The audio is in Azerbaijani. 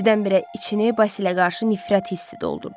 Birdən-birə içini Basilə qarşı nifrət hissi doldurdu.